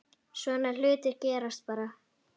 Svona hlutir gerast bara.